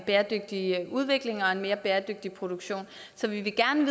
bæredygtig udvikling og en mere bæredygtig produktion så vi vil gerne